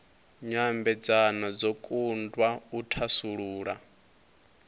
nyambedzano dzo kundwa u thasulula